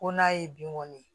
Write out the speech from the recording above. Ko n'a ye bin kɔni ye